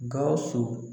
Gawusu